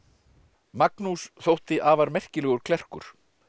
Magnús þótti afar merkilegur klerkur